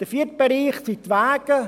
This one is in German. Der vierte Bereich sind die Wege.